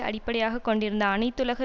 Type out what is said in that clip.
அடிப்படையாக கொண்டிருந்த அனைத்துலக